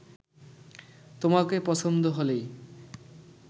তোমাকে পছন্দ হলেই